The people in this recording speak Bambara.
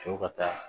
Cɛw ka taa